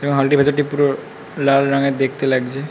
এবং হল -টির ভেতরটি পুরো লাল রঙের দেখতে লাগছে।